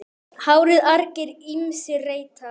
HÁRIÐ argir ýmsir reyta.